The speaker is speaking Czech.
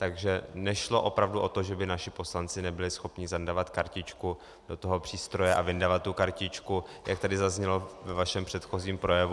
Takže nešlo opravdu o to, že by naši poslanci nebyli schopni zandavat kartičku do toho přístroje a vyndavat tu kartičku, jak tady zaznělo ve vašem předchozím projevu.